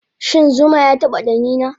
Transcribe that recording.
Shin zuma yataba ɗanina